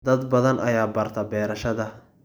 Dad badan ayaa barta beerashada.